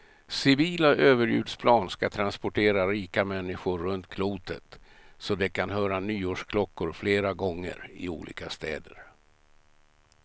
Civila överljudsplan ska transportera rika människor runt klotet så de kan höra nyårsklockor flera gånger, i olika städer.